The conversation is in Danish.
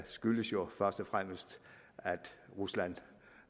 skyldes jo først og fremmest at rusland